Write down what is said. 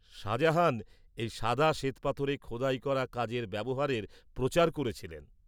-শাহজাহান এই সাদা শ্বেতপাথরে খোদাই করা কাজের ব্যবহারের প্রচার করেছিলেন।